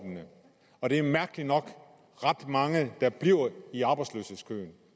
og der er mærkeligt nok ret mange der bliver i arbejdsløshedskøen